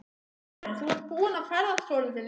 Karen: Þú ert búinn að ferðast svolítið lengi?